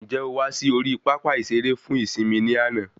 Ǹjẹ o wà sí orí pápá ìsere fún ìsimi ní àna